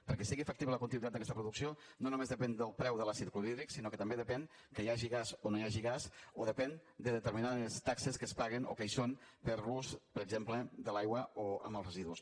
perquè sigui factible la continuïtat d’aquesta producció no només depèn del preu de l’àcid clorhídric sinó que també depèn que hi hagi gas o no hi hagi gas o depèn de determinades taxes que es paguen o que hi són per a l’ús per exemple de l’aigua o amb els residus